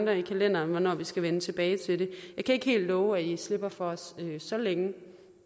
kalenderen om hvornår vi skal vende tilbage til det jeg kan ikke helt love at i slipper for os så længe